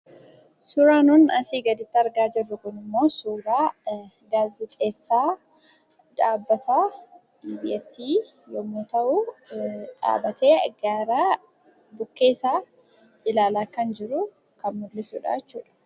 Suuraan nuti asii gaditti argaa jirru kunimmoo suuraa gaazexeessaa dhaabbata EBS yoo ta'u, dhaabbatee gara bukkeesaa ilaalaa kan jiru kan agarsiisudha.